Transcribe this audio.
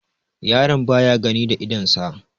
yaron baya gani da idonsa